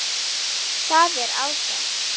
Það er ágætt.